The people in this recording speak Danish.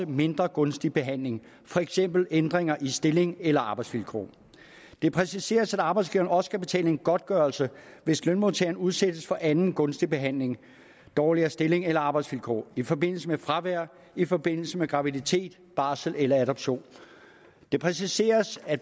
mindre gunstig behandling for eksempel ændringer i stilling eller arbejdsvilkår det præciseres at arbejdsgiveren også skal betale en godtgørelse hvis lønmodtageren udsættes for anden mindre gunstig behandling dårligere stilling eller arbejdsvilkår i forbindelse med fravær i forbindelse med graviditet barsel eller adoption det præciseres at